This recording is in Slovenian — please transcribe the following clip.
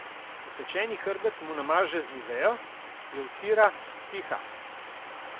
Opečeni hrbet mu namaže z niveo, jo vtira, piha.